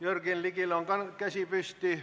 Jürgen Ligil on käsi püsti.